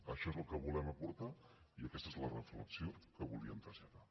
això és el que volem aportar i aquesta és la reflexió que volíem traslladar